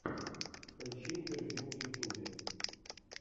поищи интервью в ютубе